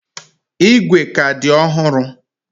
Igwe ka dị ọhụrụ.